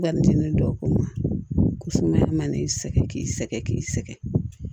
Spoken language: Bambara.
sumaya mana sɛgɛn k'i sɛgɛn k'i sɛgɛn